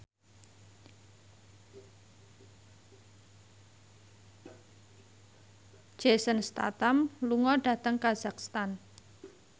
Jason Statham lunga dhateng kazakhstan